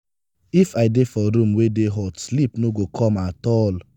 if i dey for room wey dey hot sleep no go come at all.